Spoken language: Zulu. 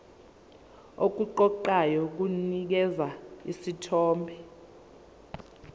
okuqoqayo kunikeza isithombe